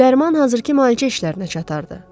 Dərman hazırki müalicə işlərinə çatarırdı.